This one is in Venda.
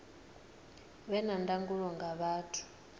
vhe na ndangulo nga vhathu